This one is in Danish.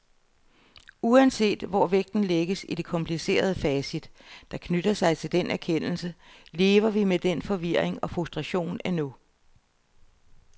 Uanset hvor vægten lægges i det komplicerede facit, der knytter sig til den erkendelse, lever vi med den forvirring og frustration endnu.